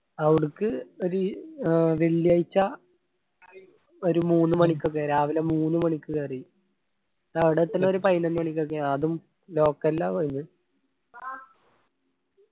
അവുടുക്ക് ഒരി ഏർ വെള്ളിയായ്ച്ച ഒരു മൂന്ന് മണിക്കൊക്കെ രാവില മൂന്ന് മണിക്ക് കേറി അവിടെ എത്തണ ഒരു പൈനൊന്ന് മണിക്കൊക്കെയാണ് അതും local ആ പോയത്. .